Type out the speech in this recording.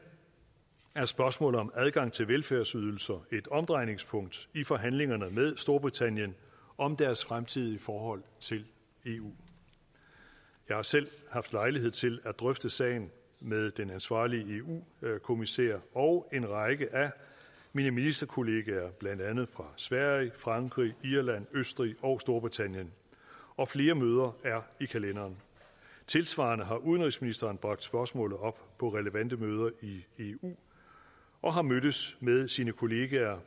er spørgsmålet om adgang til velfærdsydelser et omdrejningspunkt i forhandlingerne med storbritannien om deres fremtidige forhold til eu jeg har selv haft lejlighed til at drøfte sagen med den ansvarlige eu kommissær og en række af mine ministerkolleger blandt andet fra sverige frankrig irland østrig og storbritannien og flere møder er i kalenderen tilsvarende har udenrigsministeren bragt spørgsmålet op på relevante møder i eu og har mødtes med sine kollegaer